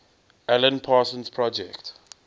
alan parsons project